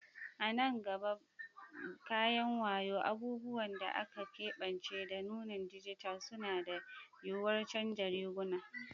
A nan gaba, kayan wayo, abubuwan da aka keɓance, da nunin dijital suna da yuwuwar canza riguna.